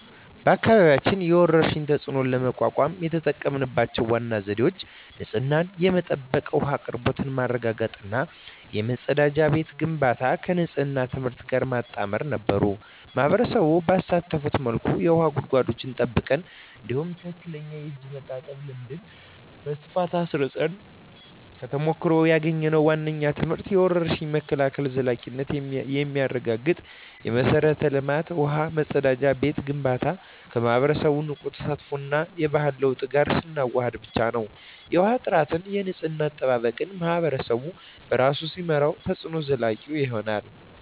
በአካባቢያችን የወረርሽኝን ተፅዕኖ ለመቋቋም የተጠቀምንባቸው ዋና ዘዴዎች ንጹህ የመጠጥ ውሃ አቅርቦት ማረጋገጥ እና የመጸዳጃ ቤት ግንባታን ከንፅህና ትምህርት ጋር ማጣመር ነበሩ። ማኅበረሰቡን ባሳተፈ መልኩ የውሃ ጉድጓዶችን ጠብቀን፣ እንዲሁም ትክክለኛ የእጅ መታጠብ ልምድን በስፋት አስረፅን። ከተሞክሮ ያገኘነው ዋነኛው ትምህርት የወረርሽኝ መከላከል ዘላቂነት የሚረጋገጠው የመሠረተ ልማት (ውሃ፣ መጸዳጃ ቤት) ግንባታን ከማኅበረሰቡ ንቁ ተሳትፎ እና የባህሪ ለውጥ ጋር ስናዋህድ ብቻ ነው። የውሃ ጥራትና የንፅህና አጠባበቅን ማኅበረሰቡ በራሱ ሲመራው፣ ተፅዕኖው ዘላቂ ይሆናል።